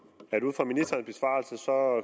for